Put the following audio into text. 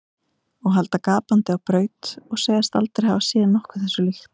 Og halda gapandi á braut og segjast aldrei hafa séð nokkuð þessu líkt.